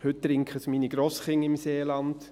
Heute trinken es meine Grosskinder im Seeland.